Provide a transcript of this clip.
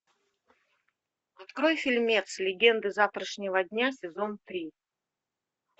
открой фильмец легенды завтрашнего дня сезон три